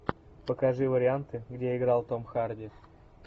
покажи варианты где играл том харди